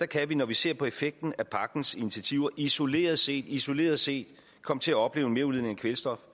kan vi når vi ser på effekten af pakkens initiativer isoleret set isoleret set komme til at opleve en merudledning af kvælstof